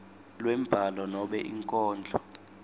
lwembhalo nobe inkondlo